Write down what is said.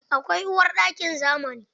Akwai uwarɗakin zamani.